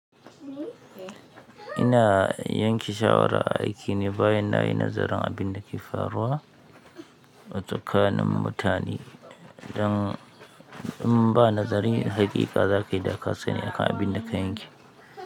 Ina yanke shawara a aiki ne bayan na yi nazarin abin da ke faruwa a tsakanin mutane don in ba nazari, haqiqa za ka yi dakasani akan abin da ka yanke.